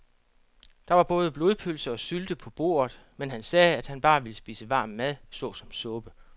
Der var både blodpølse og sylte på bordet, men han sagde, at han bare ville spise varm mad såsom suppe.